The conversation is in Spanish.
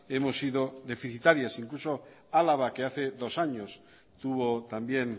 hemos sido deficitarias incluso álava que hace dos años tuvo también